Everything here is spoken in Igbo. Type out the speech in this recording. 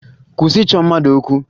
Kwụsị ịchọ mmadụ okwu!